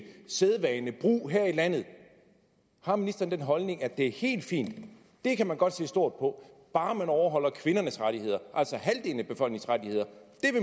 sædvane og brug her i landet har ministeren den holdning at det er helt fint at det kan man godt se stort på bare man overholder kvindernes rettigheder altså